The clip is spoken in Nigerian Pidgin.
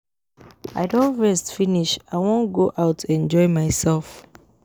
I don rest finish I wan go out enjoy myself